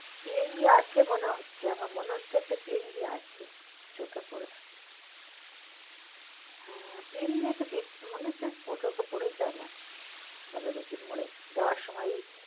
PNB আছে মনে হোচ্ছ আমার মনে হোচ্ছ একটা PNB আছে, চোখে পরেছে, আহ PNB একটা দেখ মনে হচ্ছে চোখে পরেছে, আমার বাঘাযতীন মোড়ে যাওয়ার সময় ঐ